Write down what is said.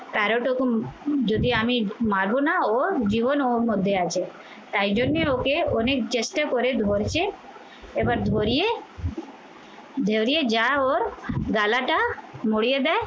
যদি আমি মারবো না ওর জীবন ওর মধ্যে আছে তাই জন্য ওকে অনেক চেষ্টা করে ধরছে এবার ধরিয়ে যা ওর গালাটা মড়িয়ে দেয়